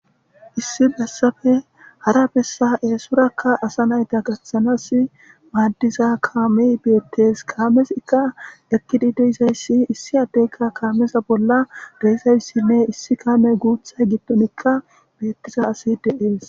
Issi bessape hara bessa asa nayta eesora gatanas maadiza kaame beetes. Kaamezika ekidi de7izayssi issi addeka kaameza bolla de7izayssine issi kaame guuththa gidon beetiza asi de7ees.